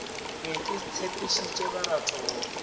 be ke tshepišitše baratho go